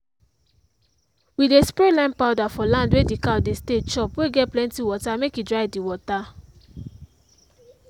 we dey spray lime powder for land wey d cow dey stay chop wey get plenty water make e dry d water.